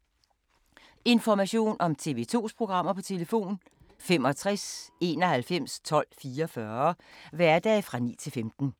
Information om TV 2's programmer: 65 91 12 44, hverdage 9-15.